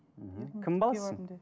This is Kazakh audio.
мхм кім баласысың